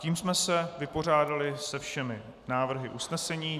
Tím jsme se vypořádali se všemi návrhy usnesení.